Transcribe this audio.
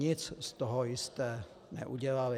Nic z toho jste neudělali.